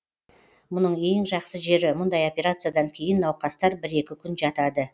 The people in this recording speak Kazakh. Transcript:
мұның ең жақсы жері мұндай операциядан кейін науқастар бір екі күн жатады